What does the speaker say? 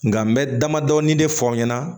Nka n bɛ damadɔnin de fɔ aw ɲɛna